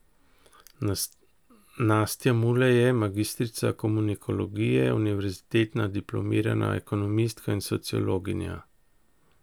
Nastja Mulej je magistrica komunikologije, univerzitetna diplomirana ekonomistka in sociologinja.